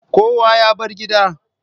Kowa ya bar gida?